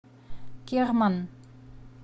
керман